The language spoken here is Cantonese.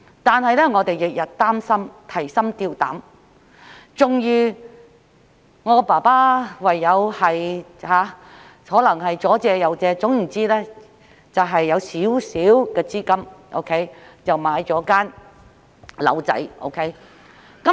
但是，我們每天都提心吊膽，終於我父親唯有四出借錢，最後籌得小量資金，便買了一間細小的房屋。